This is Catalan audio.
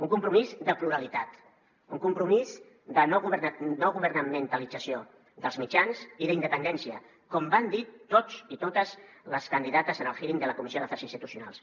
un compromís de pluralitat un compromís de no governamentalització dels mitjans i d’independència com van dir tots i totes les candidates en el hearing de la comissió d’afers institucionals